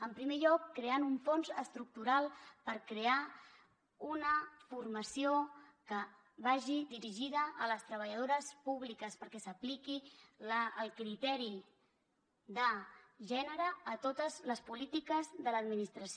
en primer lloc creant un fons estructural per crear una formació que vagi dirigida a les treballadores públiques perquè s’apliqui el criteri de gènere a totes les polítiques de l’administració